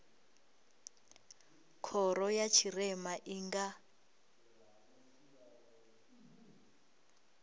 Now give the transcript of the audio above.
khoro ya tshirema i nga